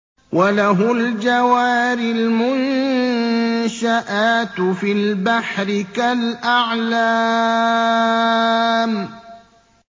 وَلَهُ الْجَوَارِ الْمُنشَآتُ فِي الْبَحْرِ كَالْأَعْلَامِ